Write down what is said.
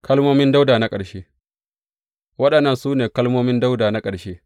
Kalmomin Dawuda na ƙarshe Waɗannan su ne kalmomin Dawuda na ƙarshe.